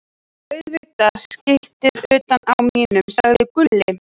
Auðvitað skiltið utan á mínum, sagði Gulli.